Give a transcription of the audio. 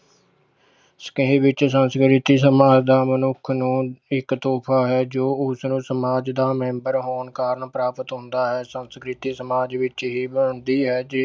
ਵਿੱਚ ਸੰਸਕ੍ਰਿਤੀ ਸਮਾਜ ਦਾ ਮਨੁੱਖ ਨੂੰ ਇੱਕ ਤੋਹਫ਼ਾ ਹੈ ਜੋ ਉਸਨੂੰ ਸਮਾਜ ਦਾ ਮੈਂਬਰ ਹੋਣ ਕਾਰਨ ਪ੍ਰਾਪਤ ਹੁੰਦਾ ਹੈ, ਸੰਸਕ੍ਰਿਤੀ ਸਮਾਜ ਵਿੱਚ ਹੀ ਬਣਦੀ ਹੈ ਜਿ~